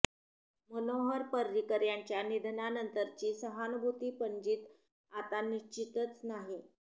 मनोहर पर्रिकर यांच्या निधनानंतरची सहानुभूती पणजीत आता निश्चितच नाही